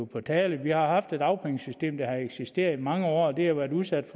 på tale vi har et dagpengesystem der har eksisteret i mange år og det har været udsat